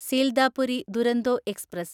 Sealdah Puri Duronto express